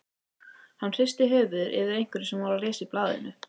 Hann hristi höfuðið yfir einhverju sem hann var að lesa í blaðinu.